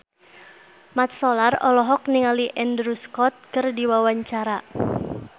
Mat Solar olohok ningali Andrew Scott keur diwawancara